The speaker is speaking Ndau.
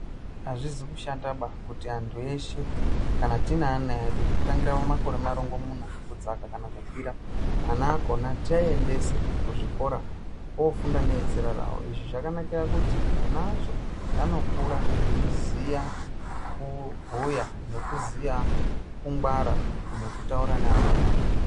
Azvisi kushataba kuti antu eshe kana tineana edu kutangira pamakore marongomuna kudzakana kukwira, ana akhona tiaendese kuzvikora oofunda nevezera ravo . Izvi zvakanakire kuti ana acho anokura eiziya kubhuya nekuziya nekungwara nekutaura neamweni.